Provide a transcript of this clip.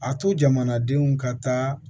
A to jamanadenw ka taa